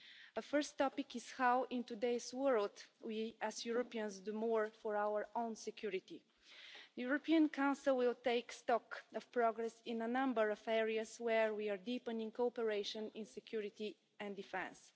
A first topic is how, in today's world, we as Europeans do more for our own security. The European Council will take stock of progress in a number of areas where we are deepening cooperation in security and defence.